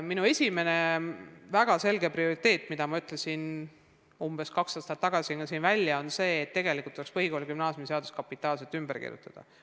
Minu esimene väga selge prioriteet, mille ma umbes kaks aastat tagasi ka siin välja ütlesin, on see, et tegelikult tuleks põhikooli- ja gümnaasiumiseadus kapitaalselt ümber kirjutada.